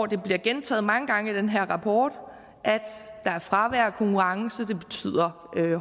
det bliver gentaget mange gange i den her rapport at der er fravær af konkurrence og at det betyder